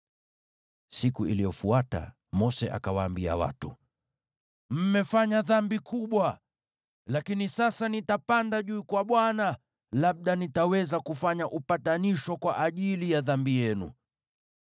Siku iliyofuata Mose akawaambia watu, “Mmefanya dhambi kubwa. Lakini sasa nitapanda juu kwa Bwana , labda nitaweza kufanya upatanisho kwa ajili ya dhambi yenu.”